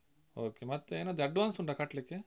Okay ಮತ್ತೆ ಏನಾದ್ರು advance ಉಂಟಾ ಕಟ್ಲಿಕ್ಕೆ?